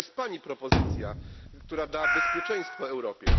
Jaka jest Pani propozycja, która da bezpieczeństwo Europie?